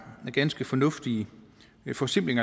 en ganske fornuftig forsimpling